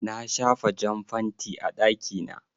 Na shafa jan fanti a ɗaki na.